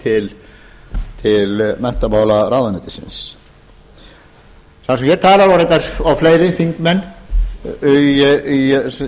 til menntamálaráðuneytisins þar sem ég tala og reyndar fleiri þingmenn í